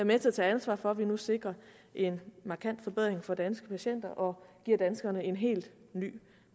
med til at tage ansvar for at vi nu sikrer en markant forbedring for danske patienter og giver danskerne en helt ny